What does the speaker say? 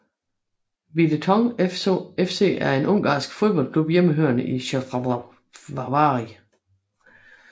Videoton FC er en ungarsk fodboldklub hjemmehørende i Szekesfehervari